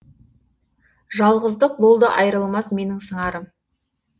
жалғыздық болды айрылмас менің сыңарым